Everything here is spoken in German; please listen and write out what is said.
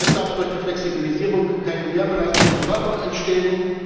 Es darf durch die Flexibilisierung keine Mehrbelastung der Fahrer entstehen.